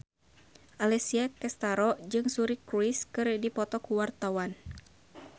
Alessia Cestaro jeung Suri Cruise keur dipoto ku wartawan